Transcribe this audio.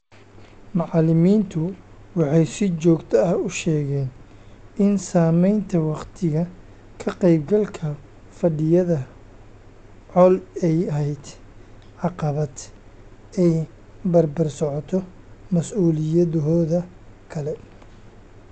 Macallimiintu waxay si joogto ah u sheegeen in samaynta wakhtiga ka qaybgalka fadhiyada CoL ay ahayd caqabad ay barbar socoto mas'uuliyadahooda kale.